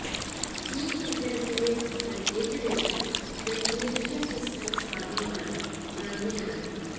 ഈ കെട്ടിടത്തിന്റെ പ്രത്യേക ഡിസൈൻ വെൻറിലേഷൻ സിസ്റ്റം സാധ്യമാണ് നന്ദി ആണ്